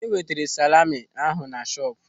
Onye wetara salami ahụ na shọpụ?